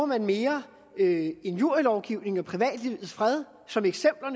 man mere injurielovgivningen og privatlivets fred som eksempler